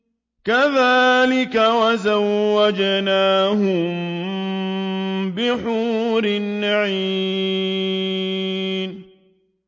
كَذَٰلِكَ وَزَوَّجْنَاهُم بِحُورٍ عِينٍ